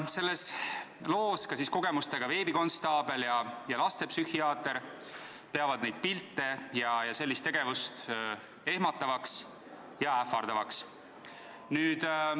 Selles loos peavad kogemustega veebikonstaabel ja lastepsühhiaater neid pilte ja sellist tegevust ehmatavaks ja ähvardavaks.